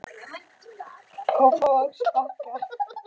Kópavogsbakka